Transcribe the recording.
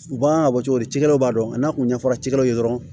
U b'an ka bɔ cogo di cikɛlaw b'a dɔn n'a kun ɲɛfɔra cikɛlaw ye dɔrɔn